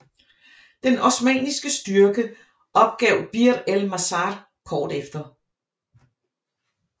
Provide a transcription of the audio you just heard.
Den osmanniske styrke opgav Bir el Mazar kort efter